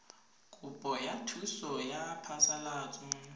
kopo ya thuso ya phasalatso